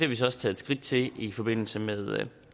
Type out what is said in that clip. vi så også taget skridt til i forbindelse med